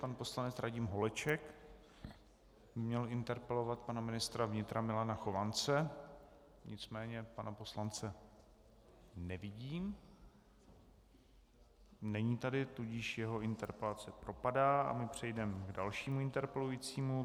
Pan poslanec Radim Holeček měl interpelovat pana ministra vnitra Milana Chovance, nicméně pana poslance nevidím, není tady, tudíž jeho interpelace propadá a my přejdeme k dalšímu interpelujícímu.